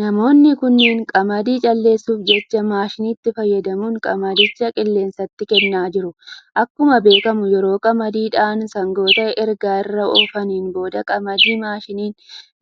Namoonni kunniin qamadii calleessuf jecha manshitti fayyadamuun qamadicha qilleensa kenna jiru. Akkuma beekkamu yeroo qamadii dhahan sangoota eega irra oofaniin booda qamadii manshiin